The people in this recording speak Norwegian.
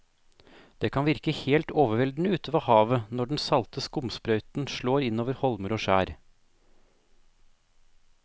Det kan virke helt overveldende ute ved havet når den salte skumsprøyten slår innover holmer og skjær.